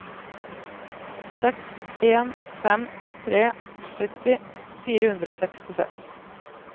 seks en fem tre sytti fire hundre og sekstiseks